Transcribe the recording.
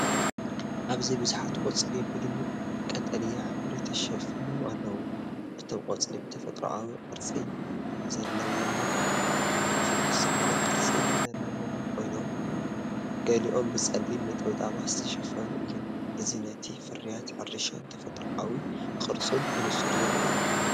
ኣብዚ ብዙሓት ቆጽሊ ብድሙቕ ቀጠልያ ሕብሪ ተሸፊኖም ኣለዉ። እቶም ቆጽሊ ብተፈጥሮኣዊ ቅርጺ ዘለዎምን ፍኹስ ዝበለ ቅርጺ ዘለዎምን ኮይኖም፡ ገሊኦም ብጸሊም ነጠብጣባት ዝተሸፈኑ እዮም። እዚ ነቲ ፍርያት ሕርሻን ተፈጥሮኣዊ ቅርጹን ብንጹር ዘርኢ እዩ።